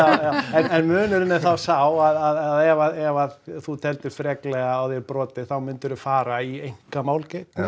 en munurinn er þá sá að ef þú teldir freklega á þér brotið þá myndir þú fara í einkamál gegn mér